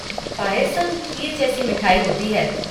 पायसम खीर जैसी मिठाई होती है।